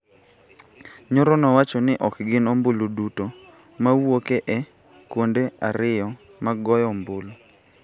Nyoro nowacho ni ok gin ombulu duto ma wuok e kuonde ariyo mag goyo ombulu